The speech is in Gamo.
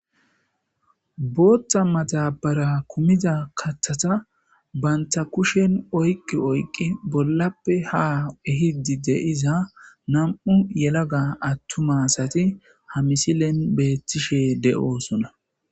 Boththa madabara kumiza katata banta kushsen oyiki oyiki bolappe ha ehidi deiza nam'u yelaga atumma asati ha missilen betishe deosona.